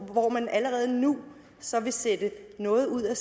hvor man allerede nu så vil sætte noget ud af